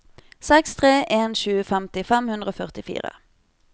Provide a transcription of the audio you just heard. seks tre en sju femti fem hundre og førtifire